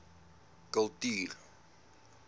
kultuur